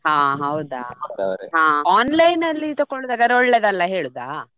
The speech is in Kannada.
ಹಾ ಹೌದಾ ಹಾ online ಅಲ್ಲಿ ತಕೊಳ್ಳುದಾದ್ರೆ ಒಳ್ಳೇದಲ್ಲ ಹೇಳುದಾ.